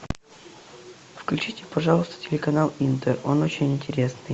включите пожалуйста телеканал интер он очень интересный